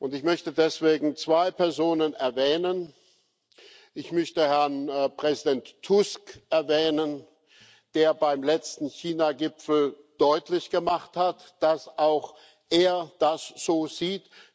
Ich möchte deswegen zwei Personen erwähnen Ich möchte Herrn Präsident Tusk erwähnen, der beim letzten Chinagipfel deutlich gemacht hat, dass auch er das so sieht.